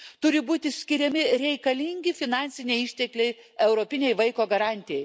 Turi būti skiriami reikalingi finansiniai ištekliai europinei vaiko garantijai.